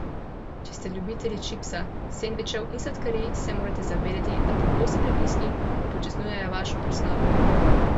Če ste ljubitelj čipsa, sendvičev in sladkarij, se morate zavedati, da pogosti prigrizki upočasnjujejo vašo presnovo.